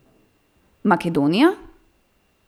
Makedonija?